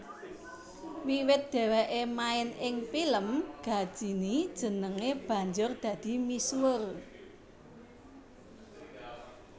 Wiwit dhèwèké main ing pilem Ghajini jenengé banjur dadi misuwur